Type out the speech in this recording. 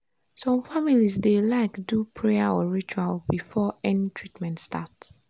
some families dey like do prayer or ritual before any treatment start.